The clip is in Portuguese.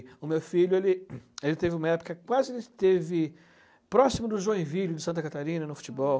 O meu filho, ele ele teve uma época quase que ele esteve próximo do Joinville, de Santa Catarina, no futebol.